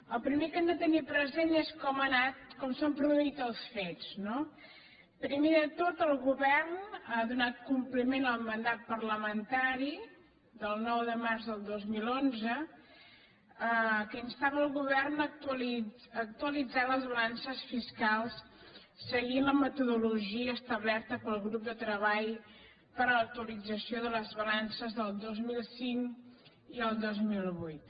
el primer que hem de tenir present és com ha anat com s’han produït els fets no primer de tot el go·vern ha donat compliment al mandat parlamentari del nou de març del dos mil onze que instava el govern a actualitzar les balances fiscals seguint la metodologia establerta pel grup de treball per a l’actualització de les balan·ces el dos mil cinc i el dos mil vuit